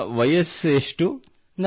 ನಿಮ್ಮ ವಯಸ್ಸೆಷ್ಟು